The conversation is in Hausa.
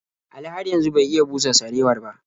Ali har yanzu bai iya busa sarewar ba.